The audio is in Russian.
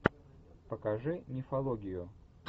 покажи мифологию